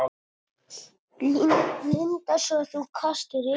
Linda: Svo þú kastaðir upp?